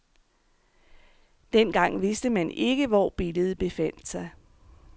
Den gang vidste man ikke, hvor billedet befandt sig.